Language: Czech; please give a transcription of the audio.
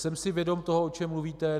Jsem si vědom toho, o čem mluvíte.